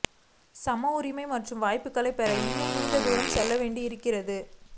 சம உரிமை மற்றும் வாய்ப்புகளை பெற இன்னும் நீண்ட தூரம் செல்ல வேண்டி இருக்கிறது